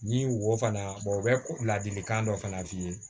Ni wo fana o bɛ ladilikan dɔ fana f'i ye